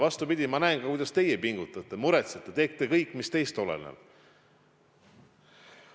Vastupidi, ma näen, kuidas teie pingutate, muretsete, teete kõik, mis teist oleneb.